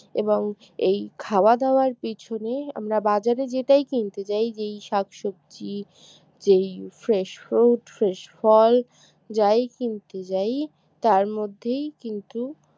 এবং এই খাওয়া দাওয়ার পিছনে আমরা বাজারে যেটাই কিনতে যাই যেই শাকসবজি যেই fresh fruit fresh ফল যাই কিনতে যাই তার মধ্যেই কিন্তু